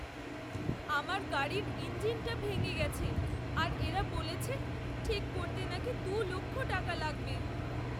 আমার গাড়ির ইঞ্জিনটা ভেঙে গেছে আর এরা বলেছে ঠিক করতে নাকি দু লক্ষ টাকা লাগবে।